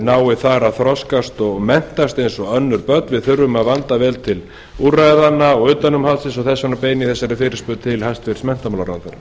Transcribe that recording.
nái að þroskast þar og menntast eins og önnur börn við þurfum að vanda vel til úrræða og utanumhalds og þess vegna beini ég þessari fyrirspurn til hæstvirts menntamálaráðherra